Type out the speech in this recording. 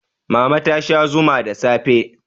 mama ta Sha Zuma da safe